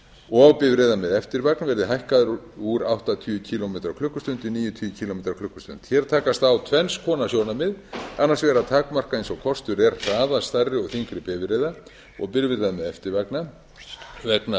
og bifreiða með eftirvagn verði hækkaður úr áttatíu kílómetra á klukkustund í níutíu kílómetrar á klukkustund hér takast á tvenns konar sjónarmið annars vegar að takmarka eins og kostur er hraða stærri og þyngri bifreiða og bifreiða með eftirvagna vegna